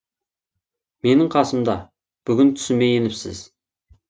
менің қасымда бүгін түсіме еніпсіз